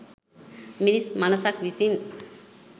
මිනිස් මනසක් විසින්